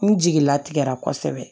N jigila tigɛra kosɛbɛ